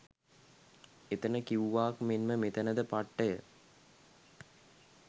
එතන කිව්වාක් මෙන්ම මෙතැන ද පට්ටය